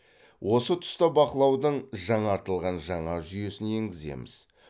осы тұста бақылаудың жаңартылған жаңа жүйесін енгіземіз